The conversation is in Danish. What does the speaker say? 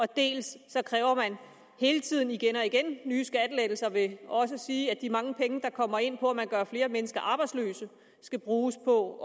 dels kræver man hele tiden igen og igen nye skattelettelser ved også at sige at de mange penge der kommer ind på at man gør flere mennesker arbejdsløse skal bruges på